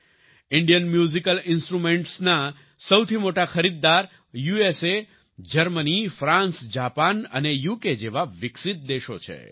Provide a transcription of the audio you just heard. Indian musical ઈન્સ્ટ્રુમેન્ટ્સના સૌથી મોટા ખરીદદાર યુએસએ જર્મની ફ્રાન્સ જાપાન અને યુકે જેવા વિકસિત દેશો છે